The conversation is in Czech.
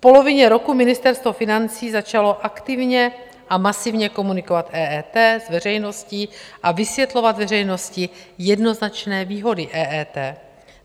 V polovině roku Ministerstvo financí začalo aktivně a masivně komunikovat EET s veřejností a vysvětlovat veřejnosti jednoznačné výhody EET.